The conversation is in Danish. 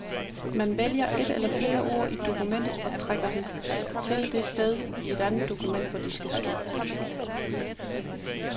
Man vælger et eller flere ord i et dokument og trækker dem til det sted i et andet dokument, hvor de skal stå.